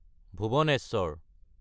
Bhubaneswar